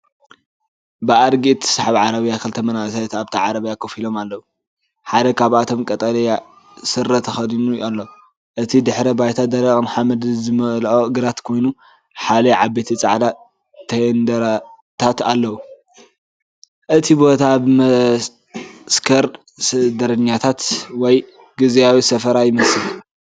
ብኣድጊእትሰሓብ ዓረብያ ክልተ መንእሰያት ኣብታ ዓረብያ ኮፍ ኢሎም ኣለዉ። ሓደ ካብኣቶም ቀጠልያ ስረ ተኸዲኑ ኣሎ። እቲ ድሕረ ባይታ ደረቕን ሓመድ ዝመልኦን ግራት ኮይኑ ሓያሎ ዓበይቲ ጻዕዳ ቴንዳታት ኣለዎ። እቲ ቦታ መዓስከር ስደተኛታት ወይ ግዝያዊ ሰፈራ ይመስል።